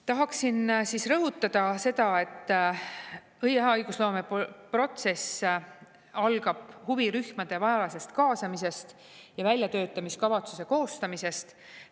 Tahaksin rõhutada seda, et hea õigusloomeprotsess algab huvirühmade kaasamisest ja väljatöötamiskavatsuse koostamisest.